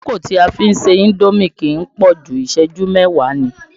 Àkókò tí a fi ń ṣe indomi kì í pọ̀jù, ìṣẹ́jú mẹ́wáà ni.